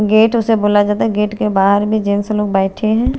Gate उसे बोलै जाता है गेट के बहार भी जेंट्स लोग बैठे है।